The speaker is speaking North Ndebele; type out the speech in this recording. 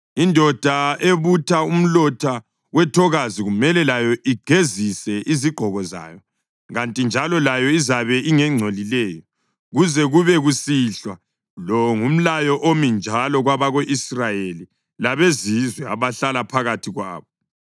Indoda ebutha umlotha wethokazi kumele layo igezise izigqoko zayo, kanti njalo layo izabe ingengcolileyo kuze kube kusihlwa. Lo ngumlayo omi njalo kwabako-Israyeli labezizwe abahlala phakathi kwabo.